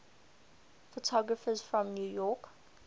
photographers from new york